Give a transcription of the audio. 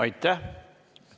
Aitäh!